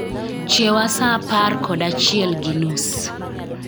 Chiewa saa apar kod achiel gi nus